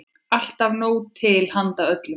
Alltaf nóg til handa öllum.